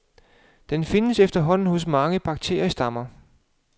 Den findes efterhånden hos mange bakteriestammer.